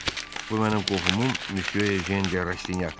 bu mənim qohumum Müsyo Ejen de Rastinyakdır.